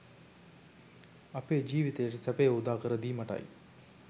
අපේ ජීවිතයට සැපය උදාකර දීමටයි.